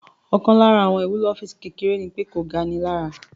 Ọkàn lára àwọn ìwúlò ọ́físì kékeré ní pé kò ga ni lára